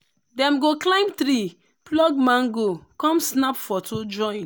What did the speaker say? dem go climb tree pluck mango come snap photo join.